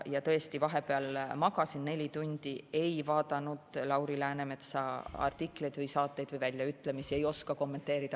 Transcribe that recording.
Ja tõesti, vahepeal ma magasin neli tundi, ei vaadanud Lauri Läänemetsa artikleid ega mingeid saateid, nii et väljaütlemisi ei oska kommenteerida.